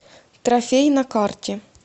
трофей на карте